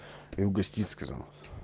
и угостить сказал